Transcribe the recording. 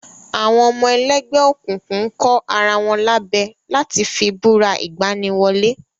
Àwọn ọmọ ẹlẹ́gbẹ́ òkùnkùn kọ ara wọn lábẹ láti fi búra ìgbani wọlé